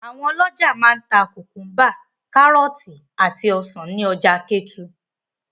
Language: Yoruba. Àwọn ọlọ́jà máa ń ta kùkúḿbà, kárọ́tì, àti ọsàn ní ọjà Kétu.